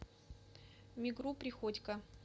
мигру приходько